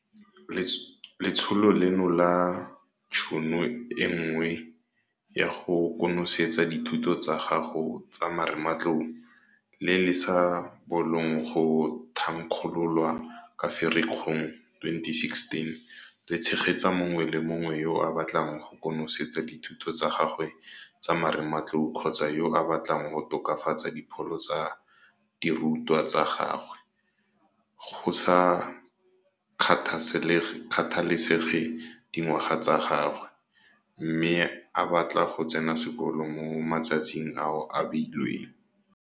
Letsholo leno la Tšhono e Nngwe ya go konosetsa dithuto tsa gago tsa marematlou, le le sa bolong go thankgololwa ka Ferikgong 2016 le tshegetsa mongwe le mongwe yo a batlang go konosetsa dithuto tsa gagwe tsa marematlou kgotsa yo a batlang go tokafatsa dipholo tsa dirutwa tsa gagwe, go sa kgathalesege dingwaga tsa gagwe, mme a batla go tsena sekolo mo matsatsing ao a beilweng.